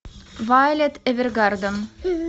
вайолет эвергарден